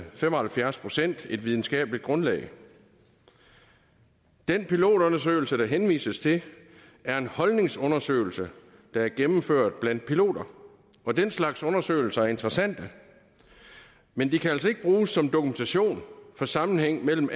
fem og halvfjerds procent et videnskabeligt grundlag den pilotundersøgelse der henvises til er en holdningsundersøgelse der er gennemført blandt piloter og den slags undersøgelser er interessante men de kan altså ikke bruges som dokumentation for sammenhængen mellem